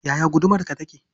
Yaya gudumarka take?